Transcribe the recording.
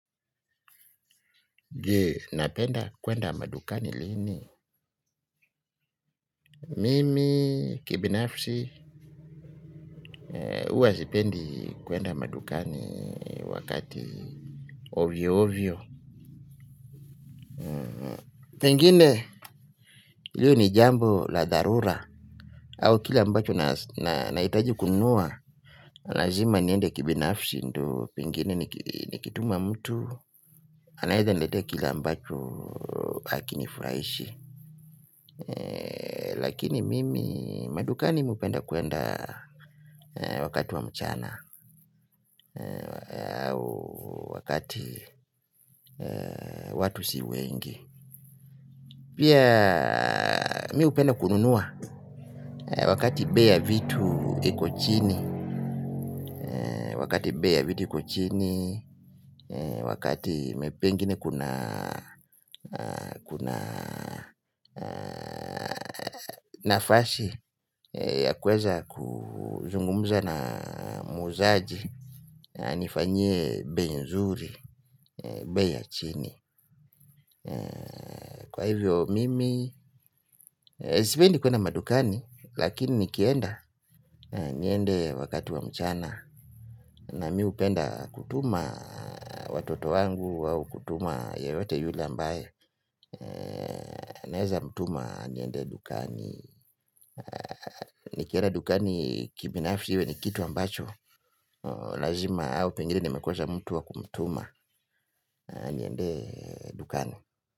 Jee, napenda kuenda madukani lini. Mimi, kibinafsi, huwa sipendi kuenda madukani wakati ovyo ovyo. Pengine, hilo ni jambo la dharura, au kile ambacho nahitaji kununua. Lazima niende kibinafsi, ndio pengine nikituma mtu, anaweza niletea kile ambacho hakinifurahishi. Lakini mimi madukani mmi hupenda kuenda wakati wa mchana. Wakati watu si wengi. Pia mimi hupenda kununua wakati bei ya vitu iko chini. Wakati bei ya vitu iko chini. Wakati pengine kuna nafasi ya kuweza kuzungumza na muuzaji. Anifanyie bei nzuri, bei ya chini. Kwa hivyo mimi, sipendi kuenda madukani. Lakini nikienda, niende wakati wa mchana. Na mimi hupenda kutuma watoto wangu au kutuma yeyote yule ambaye naweza mtuma aniendee dukani. Nikienda dukani kibinafsi iwe ni kitu ambacho lazima au pengine nimekosa mtu wa kumtuma aniendee dukani.